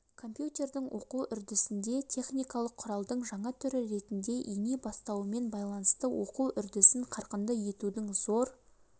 компьютердің оқу үрдісінде техникалық құралдың жаңа түрі ретінде ене бастауымен байланысты оқу үрдісін қарқынды етудің зор